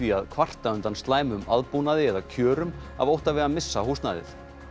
að kvarta undan slæmum aðbúnaði eða kjörum af ótta við að missa húsnæðið